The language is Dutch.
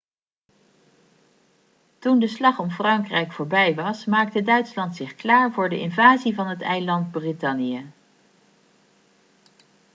toen de slag om frankrijk voorbij was maakte duitsland zich klaar voor de invasie van het eiland brittannië